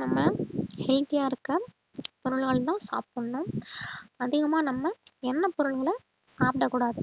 நம்ம healthy ஆ இருக்க பொருள்கள்தான் சாப்பிடணும் அதிகமா நம்ம எண்ணெய் பொருள்களை சாப்பிடக் கூடாது